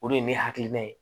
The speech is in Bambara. O de ye ne hakilina ye